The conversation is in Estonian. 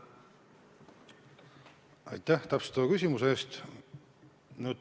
Aitäh täpsustava küsimuse eest!